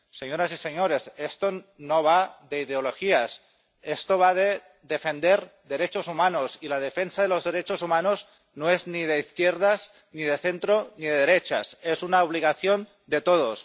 Señoras y señores, esto no va de ideologías, esto va de defender derechos humanos, y la defensa de los derechos humanos no es ni de izquierdas ni de centro ni de derechas, es una obligación de todos.